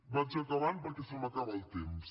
vaig acabant perquè se m’acaba el temps